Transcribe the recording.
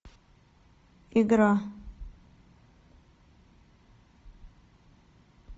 игра